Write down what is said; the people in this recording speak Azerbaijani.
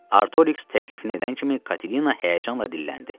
Artoriks təklifini edən kimi Katilina həyəcanla dilləndi.